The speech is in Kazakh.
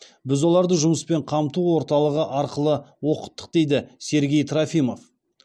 біз оларды жұмыспен қамту орталығы арқылы оқыттық дейді сергей трофимов